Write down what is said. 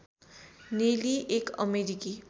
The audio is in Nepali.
नेली एक अमेरिकी